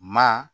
Maa